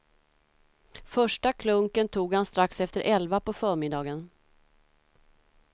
Första klunken tog han strax efter elva på förmiddagen.